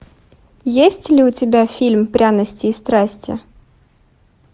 есть ли у тебя фильм пряности и страсти